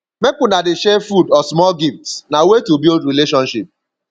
make una dey share food or small gifts na way to build relationship